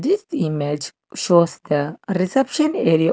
this image shows the reception area.